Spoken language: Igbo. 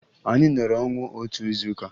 Anyị nọrọ ọnwụ otu izuụka